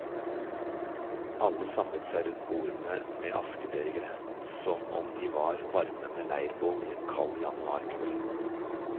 Alle samlet seg rundt bordene med askebegre som om de var varmende leirbål i en kald januarkveld.